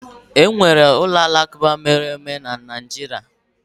Enwere ụlọ alakụba mere eme na Naịjirịa.